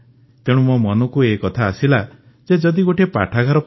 ତେଣୁ ମୋ ମନକୁ ଏ କଥା ଆସିଲା ଯେ ଯଦି ଗୋଟିଏ ପାଠାଗାର